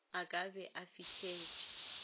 a ka be a fihletše